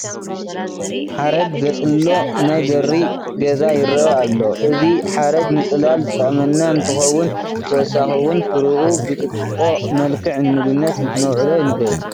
ሓረግ ዘፅሎ ናይ በሪ ገዛ ይርአ ኣሎ፡፡ እዚ ሓረግ ንፅላል ዝጠቕመና እንትኸውን ብተወሳኺ እውን ፍሪኡ ብጥጥቖ መልክዕ ንምግብነት ክነውዕሎ ንኽእል፡፡